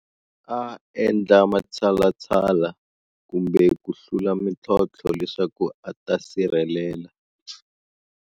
A endla matshalatshala, kumbe ku hlula mintlhontlho leswaku a ta sirhelela.